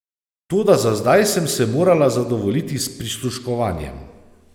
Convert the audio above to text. Toda za zdaj sem se morala zadovoljiti s prisluškovanjem.